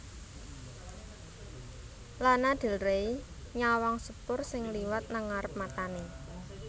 Lana Del Rey nyawang sepur sing liwat nang ngarep matane